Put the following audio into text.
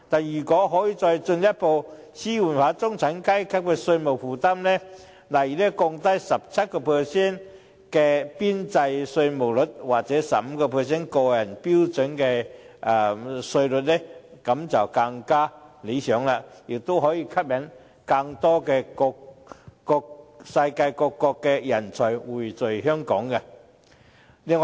如果可以再進一步紓緩中產階級的稅務負擔，例如降低 17% 的邊際稅率或 15% 個人標準稅率便更理想，也可以吸引世界各國更多人才匯聚香港。